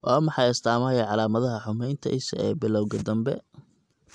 Waa maxay astamaha iyo calaamadaha xumeynta isha ee bilawga dambe?